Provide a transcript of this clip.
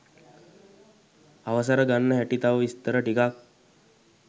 අවසර ගන්න හැටි තව විස්තර ටිකක්